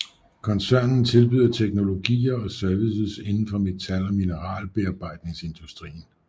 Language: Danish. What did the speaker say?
Koncernen tilbyder teknologier og services indenfor metal og mineralbearbejdningsindustrien